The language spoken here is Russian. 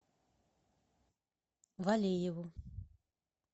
валееву